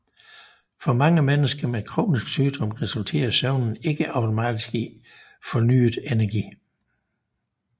For mange mennesker med kronisk sygdom resulterer søvnen ikke automatisk i fornyet energi